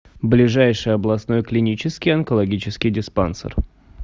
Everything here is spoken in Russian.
ближайший областной клинический онкологический диспансер